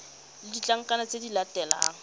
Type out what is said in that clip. le ditlankana tse di latelang